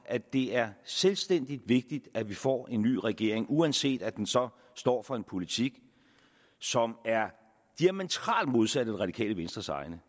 at det er selvstændig vigtigt at vi får en ny regering uanset at den så står for en politik som er diametralt modsat af det radikale venstres egen